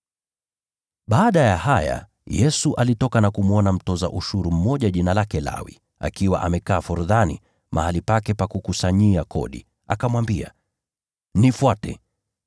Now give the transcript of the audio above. Baada ya haya, Yesu alitoka na kumwona mtoza ushuru mmoja jina lake Lawi akiwa amekaa forodhani, mahali pake pa kutoza ushuru. Akamwambia, “Nifuate.”